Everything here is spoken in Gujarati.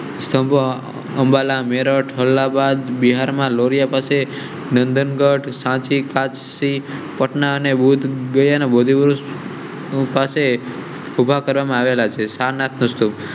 અંબાલા મેરઠ, અલ્હાબાદ, બિહાર, નંદનગઢ, સાચી, કાશી, પટના ને ભૂતગયા . ઉભા કરવામાં આવેલા છે. સારનાથ ના સ્તૂપ